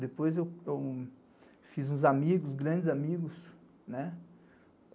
Depois eu fiz uns amigos, grandes amigos.